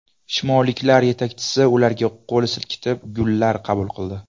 Shimolliklar yetakchisi ularga qo‘l silkitib gullar qabul qildi.